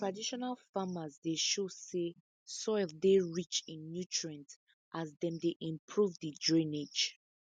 traditional farmers dey show say soil dey rich in nutrient as dem dey improve the drainage